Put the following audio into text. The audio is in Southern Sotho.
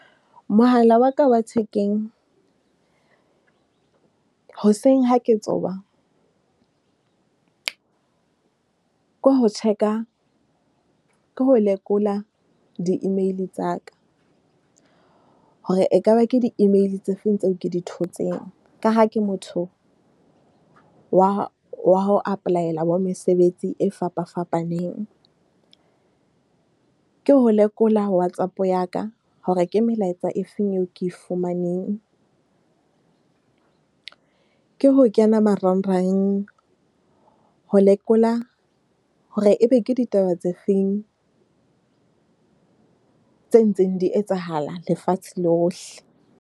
Mohala waka wa thekeng hoseng ha ke tsoha, ke ho check-a. Ke ho lekola di-email tsa ka hore ekaba ke di-email tse feng tseo ke di thotseng. Ka ha ke motho wa wa ho apply-ela mesebetsi e fapa fapaneng. Ke ho lekola Whatsapp yaka hore ke melaetsa e feng eo ke e fumaneng. Ke ho kena marangrang ho lekola hore ebe ke ditaba tse feng tse ntseng di etsahala lefatshe lohle.